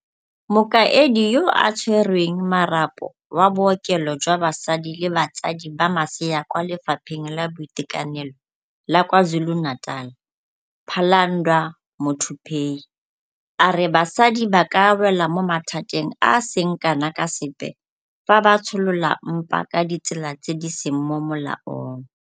Mokaedi yo a Tshwereng Marapo wa Bookelo jwa Basadi le Batsadi ba Masea kwa Lefapheng la Boitekanelo la KwaZulu-Natal, Phalanndwa Muthuphei, a re basadi ba ka wela mo mathateng a a seng kana ka sepe fa ba tsholola mpa ka ditsela tse di seng mo molaong